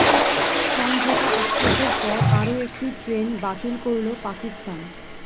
সমঝোতা এক্সপ্রেসের পর আরও একটি ট্রেন বাতিল করল পাকিস্তান